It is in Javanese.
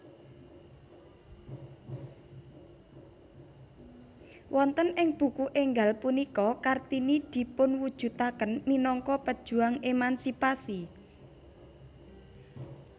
Wonten ing buku énggal punika Kartini dipunwujudaken minangka pejuang emansipasi